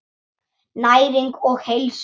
Næring og heilsa.